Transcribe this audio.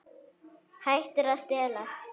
Hættir að stela.